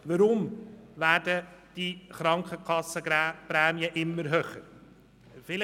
Weshalb werden die Krankenkassenprämien immer höher?